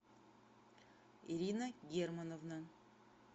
ирина германовна